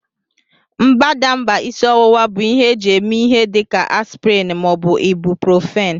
Mbadamba isi ọwụwa bụ ihe eji eme ihe dị ka aspịrịn ma ọ bụ ibuprofin